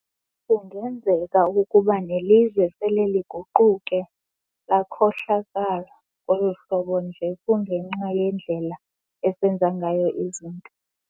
Kungenzeka ukuba nelizwe sele liguquke lakhohlakala ngoluhlobo nje kungenxa yendlela esenza ngayo izinto.